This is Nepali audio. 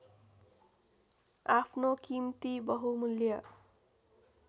आफ्नो किम्ती बहुमूल्य